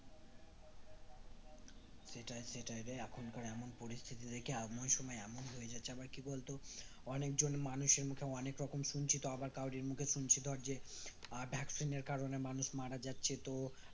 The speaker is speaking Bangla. সেটাই সেটাই রে এখনকার এমন পরিস্থিতি দেখে এমন সময় এমন হয়ে যাচ্ছে কে আবার কি বলতো অনেকজন মানুষের মুখে অনেক রকম শুনছি তো আবার কারোরই মুখে শুনছি তো আহ যে vaccine এর কারণ এ মানুষ মারা যাচ্ছে তো